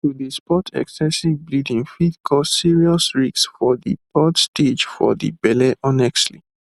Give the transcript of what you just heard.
to dey spot excessive bleeding fit cause serious risks for de third stage for de belle honestly